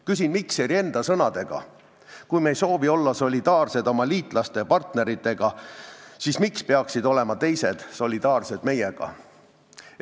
Küsin Mikseri enda sõnadega: kui meie ei soovi olla solidaarsed oma liitlaste ja partneritega, siis miks peaksid teised olema solidaarsed meiega?